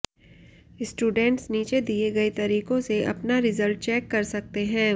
students नीचे दिए गए तरीकों से अपना रिजल्ट चेक कर सकते हैं